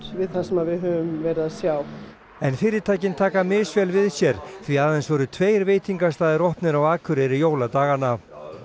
við það sem við höfum verið að sjá en fyrirtækin taka misvel við sér því aðeins voru tveir veitingastaðir opnir á Akureyri jóladagana